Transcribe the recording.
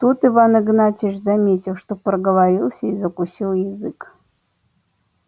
тут иван игнатьич заметил что проговорился и закусил язык